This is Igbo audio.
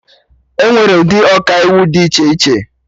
Enwere ụdị Ọkaiwu dị iche iche